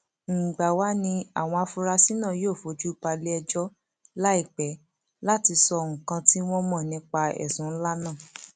mgbà wàá ní àwọn afurasí náà yóò fojú balẹẹjọ láìpẹ láti sọ nǹkan tí wọn mọ nípa ẹsùn ńlá náà